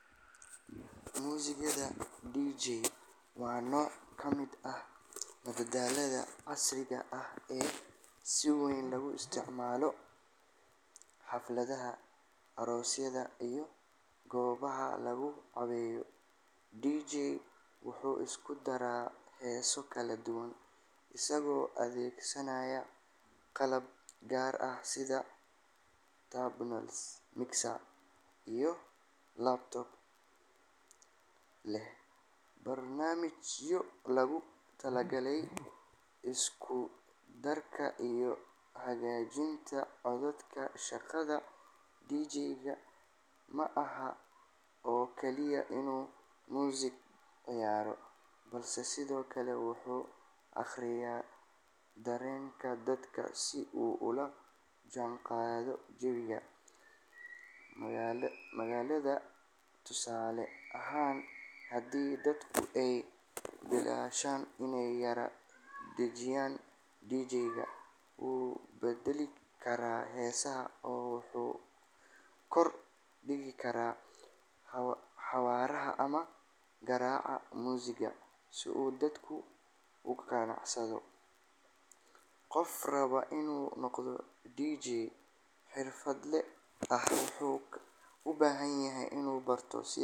Muusiga DJ waa nooc ka mid ah madadaalada casriga ah ee si weyn loogu isticmaalo xafladaha, aroosyada, iyo goobaha lagu caweeyo. DJ wuxuu isku daraa heeso kala duwan isagoo adeegsanaya qalab gaar ah sida turntables, mixer iyo laptop leh barnaamijyo loogu talagalay isku darka iyo hagaajinta codadka. Shaqada DJ-ga ma aha oo kaliya inuu muusig ciyaaro, balse sidoo kale wuxuu akhriyaa dareenka dadka si uu ula jaanqaado jawiga madadaalada. Tusaale ahaan, haddii dadku ay bilaabaan inay yara dejiyaan, DJ-ga wuu beddeli karaa heesaha oo wuxuu kordhin karaa xawaaraha ama garaaca muusigga si uu dadku u kacsado. Qofka raba inuu noqdo DJ xirfadle ah wuxuu u baahan yahay inuu barto.